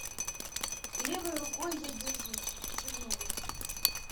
левой рукой я держусь чернобыль